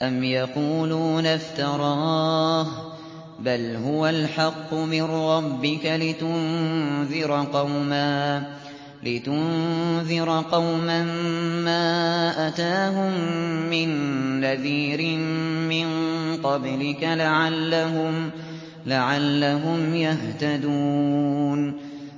أَمْ يَقُولُونَ افْتَرَاهُ ۚ بَلْ هُوَ الْحَقُّ مِن رَّبِّكَ لِتُنذِرَ قَوْمًا مَّا أَتَاهُم مِّن نَّذِيرٍ مِّن قَبْلِكَ لَعَلَّهُمْ يَهْتَدُونَ